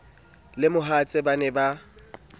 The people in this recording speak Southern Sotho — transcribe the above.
le mohatsae ha ba ne